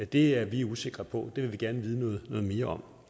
det er vi usikre på det vil vi gerne vide noget mere om